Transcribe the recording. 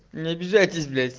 не обижайтесь блять